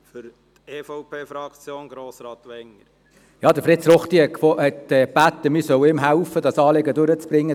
Fritz Ruchti hat gebeten, ihn bei diesem Anliegen zu unterstützen.